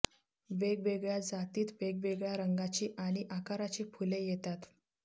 वेगवेगळ्या जातीत वेगवेगळ्या रंगाची आणि आकाराची फुले येतात